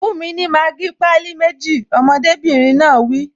Fún mi ní Maggi pálí méjì! Ọmọdébìnrin náà wí